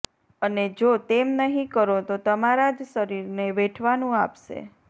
અને જો તેમ નહીં કરો તો તમારા જ શરીરને વેઠવાનું આપશે